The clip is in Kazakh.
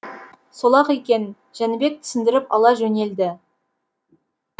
сол ақ екен жәнібек түсіндіріп ала жөнелді